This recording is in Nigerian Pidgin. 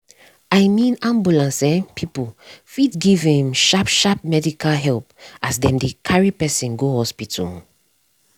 i mean ambulance um people fit give um sharp sharp medical help as dem dey carry person go hospital. um